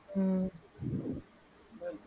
உம்